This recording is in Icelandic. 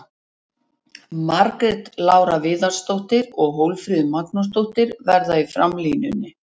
Margrét Lára Viðarsdóttir og Hólmfríður Magnúsdóttir verða í framlínunni.